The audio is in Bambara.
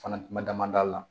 Fana kuma dama la